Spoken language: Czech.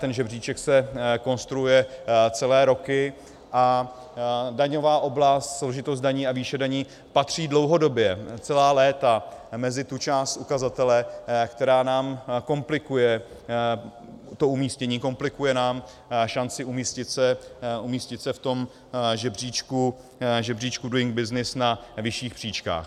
Ten žebříček se konstruuje celé roky a daňová oblast, složitost daní a výše daní patří dlouhodobě celá léta mezi tu část ukazatele, která nám komplikuje umístění, komplikuje nám šanci umístit se v tom žebříčku Doing Business na vyšších příčkách.